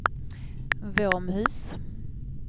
Våmhus